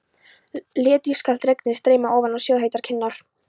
Lét ískalt regnið streyma ofan á sjóðheitar kinnar.